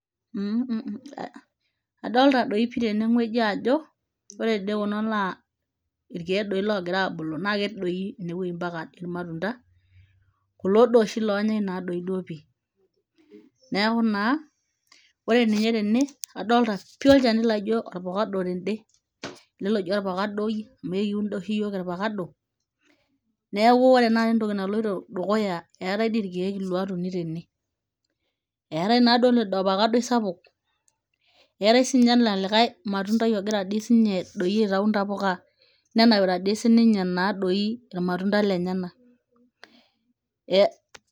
Adolita doi pii tenewueji ajo ore dii kuna naa irkeek doi loogira aabulu naa ketii doi inewueji mpaka irmatunda kulo doi oonyaai naduo pii neeku naa ore ninye tene adolta pii olchani laa ijio ovacado tende ele loji orfakadoi amu kiun oshi iyiook irfakadoi neeku ore taata entoki naloito dukuya eetai doi irkeek oitumiai tene, eetai naaduo ilo fakadoi sapuk eetai sininye ena likai matundai taadi sininye ogira aitayu ntapuka nenapita naadoi irmatunda lenyenak.